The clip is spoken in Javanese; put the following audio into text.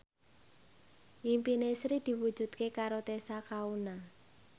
impine Sri diwujudke karo Tessa Kaunang